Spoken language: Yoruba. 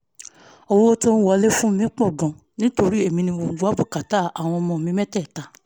owó tó ń wọlé fún mi tún pọ̀ gan-an nítorí èmi ni mo máa ń gbọ́ bùkátà àwọn ọmọ mi mẹ́tẹ̀ẹ̀ta